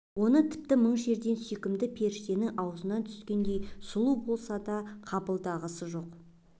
оны тіпті мың жерден сүйкімді періштенің аузынан түскендей сұлу болса да қабылдағысы жоқ